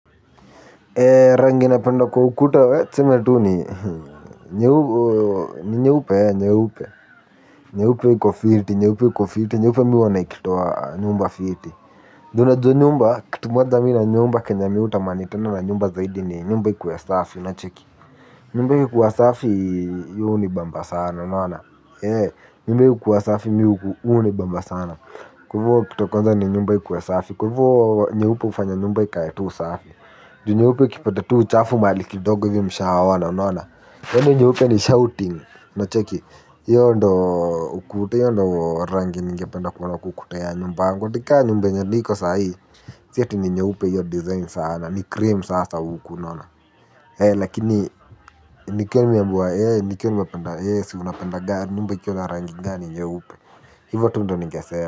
Rangi napenda kwa ukuta, tuseme tuu ni nyeupe nyeupe iko fiti, nyeupe iko fiti. Nyeupe huwa inatoa, nyumba fiti. Juu unajua nyumba, kitu moja mi na nyumba kenye mi hutamani tena na nyumba zaidi ni nyumba ikuwe safi unacheki. Nyumba ikikuwa safi hihunibamba sana unaona, nyumba ikikuwa safi hunibamba sana. Kwa hivyo kitu ya kwanza ni nyumba ikuwe safi, kwa hivyo nyeupe hufanya nyumba ikae tu safi. Nyeupe kipata tu uchafu mahali kidogo hivi mshaona unaona. Nyeupe ni shouting, unacheki, hiyo ndo ukuta hiyo ndo rangi ningependa kuona kwa ukuta ya nyumba yangu. Upate ka nyumba yenye niko sahii, si ati ni nyeupe hiyo design sana, ni cream sasa huku unaona. Lakini, nikiwa nimeambiwa, nikiwa nimependa, si unapenda, nyumba ikiwa na rangi gani nyeupe. Hivyo tu ndo ningesema.